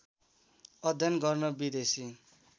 अध्ययन गर्न विदेशी